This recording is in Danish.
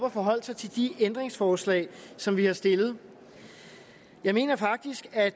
at forholde sig til de ændringsforslag som vi har stillet jeg mener faktisk at